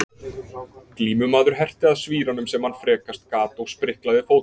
Glímumaður herti að svíranum sem hann frekast gat og spriklaði fótum.